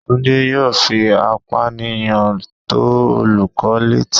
Tunde yóò fí apániyan to olukọni letí